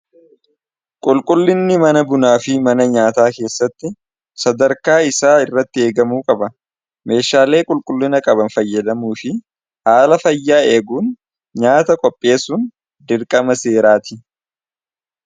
qulqullinni mana bunaa fi mana nyaataa keessatti sadarkaa isaa irratti eegamuu qaba meeshaalee qulqullina qaban fayyadamuu fi haala fayyaa eeguun nyaata qopheesuun dirqama seeraati